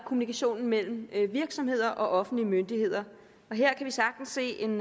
kommunikationen mellem virksomheder og offentlige myndigheder her kan vi sagtens se en